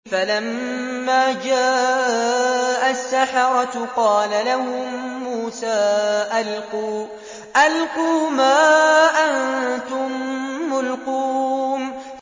فَلَمَّا جَاءَ السَّحَرَةُ قَالَ لَهُم مُّوسَىٰ أَلْقُوا مَا أَنتُم مُّلْقُونَ